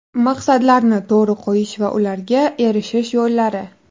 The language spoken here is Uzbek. Maqsadlarni to‘g‘ri qo‘yish va ularga erishish yo‘llari.